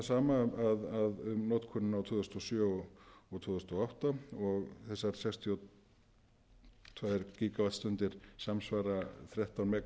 fram þetta sama um notkunina á tvö þúsund og sjö og tvö þúsund og átta og þessar sextíu og tvö gígavattstundir samsvara þrettán